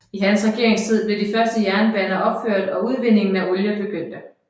I hans regeringstid blev de første jernbaner opført og udvindingen af olie begyndte